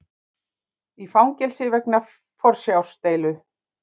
Í fangelsi vegna forsjárdeilu